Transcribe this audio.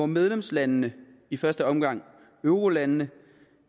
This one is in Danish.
medlemslandene i første omgang eurolandene